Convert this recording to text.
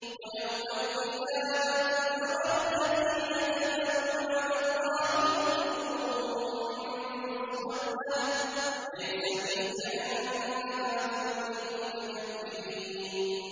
وَيَوْمَ الْقِيَامَةِ تَرَى الَّذِينَ كَذَبُوا عَلَى اللَّهِ وُجُوهُهُم مُّسْوَدَّةٌ ۚ أَلَيْسَ فِي جَهَنَّمَ مَثْوًى لِّلْمُتَكَبِّرِينَ